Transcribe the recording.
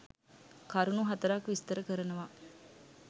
කරුණු හතරක් විස්තර කරනවා.